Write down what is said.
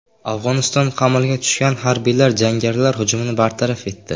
Afg‘oniston qamalga tushgan harbiylar jangarilar hujumini bartaraf etdi.